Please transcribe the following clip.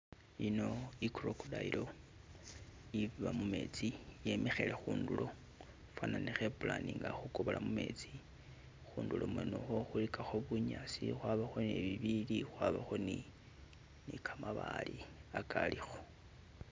Ino i'crocodile iba mumetsi yemikhile khundulo fwana ne khe pulaninga khukobola mumetsi, khundulo mwene ukhwo khulikakho bunyasi, khwabakho ne bibiili khwabakho ne kamabaale akalikho.